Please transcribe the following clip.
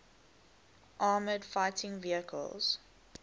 armoured fighting vehicles